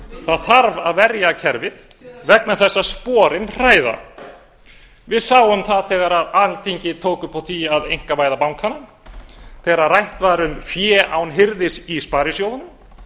það þarf að verja kerfið vegna þess að sporin hræða við sáum það þegar alþingi tók upp á því að einkavæða bankana þegar rætt var um fé án hirðis í sparisjóðunum